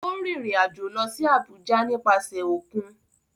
Ó rìnrìn-àjò lọ sí Àbújá nípasẹ̀ òkun?